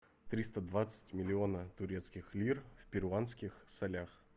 триста двадцать миллиона турецких лир в перуанских солях